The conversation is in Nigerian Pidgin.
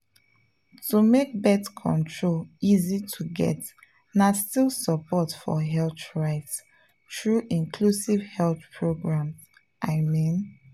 to make birth control easy to get na still support for health rights through inclusive health programs i mean.